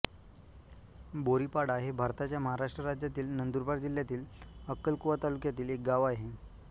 बोरीपाडा हे भारताच्या महाराष्ट्र राज्यातील नंदुरबार जिल्ह्यातील अक्कलकुवा तालुक्यातील एक गाव आहे